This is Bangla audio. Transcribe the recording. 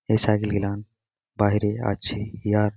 এ সাইকেল -গিলান বাইরে আছে ইহার--